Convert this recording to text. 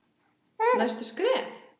Næstu skref?